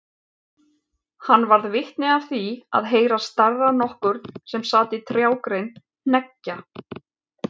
Hann varð vitni af því að heyra starra nokkurn sem sat á trjágrein hneggja.